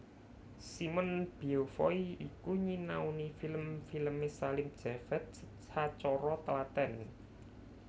Simon Beaufoy iku nyinaoni film filmé Salim Javed sacara tlatèn